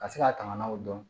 Ka se ka tangan o dɔn